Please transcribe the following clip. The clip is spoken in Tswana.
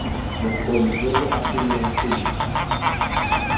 bokgoni jo bo agegileng sentle